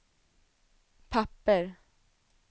papper